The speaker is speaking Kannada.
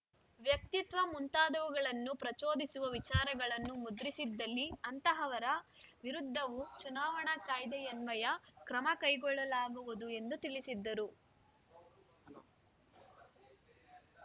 ವ್ಯಕ್ತಿತ್ವ ಮುಂತಾದವುಗಳನ್ನು ಪ್ರಚೋದಿಸುವ ವಿಚಾರಗಳನ್ನು ಮುದ್ರಿಸಿದಲ್ಲಿ ಅಂತಹವರ ವಿರುದ್ಧವೂ ಚುನಾವಣಾ ಕಾಯ್ದೆಯನ್ವಯ ಕ್ರಮಕೈಗೊಳ್ಳಲಾಗುವುದು ಎಂದು ತಿಳಿಸಿದ್ದರು